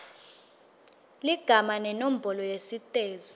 ligama nenombolo yesitezi